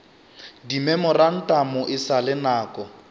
dimemorantamo e sa le nako